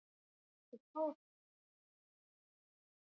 Hugtök og heiti bókmenntafræði.